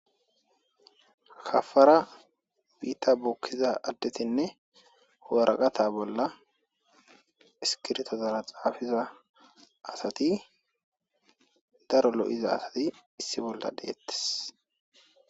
Ha para biitta bokkiza addetiinne waraqata bolla isskirtozara xaafiza asati daro lo'iza asati issi bolla deettees